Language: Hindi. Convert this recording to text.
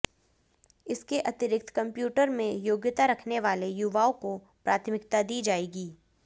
इसके अतिरिक्त कम्प्यूटर में योग्यता रखने वाले युवाओं को प्राथमिकता दी जाएगी